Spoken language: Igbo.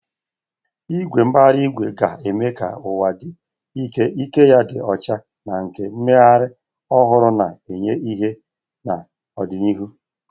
Igwe mbara igwe ga-eme ka ụwa dị ike, ike ya dị ọcha na nke mmeghari ohuru na-enye ìhè n'ọdịnihu.